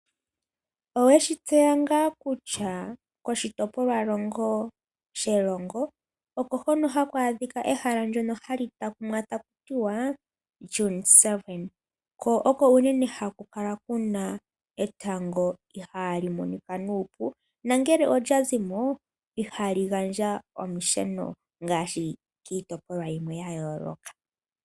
Oweshi tseya ngaa kutya koshitopolwahogololo Erongo oko hono haku adhika ehala ndono hali takumwa taakumwa taku ti wa "Dune 7", ko oko unene kuna etango ihaali monika nuupu. Nongele olya zi mo ihali gandja olusheno ngaashi kiitopolwa yimwe ya yooloka.